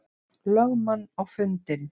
lögmann á fundinn.